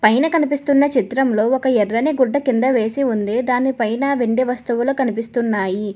పైనా కనిపిస్తున్న చిత్రంలో ఒక ఎర్రని గుడ్డ కింద వేసి ఉంది దాన్ని పైన వెండి వస్తువుల కనిపిస్తున్నాయి.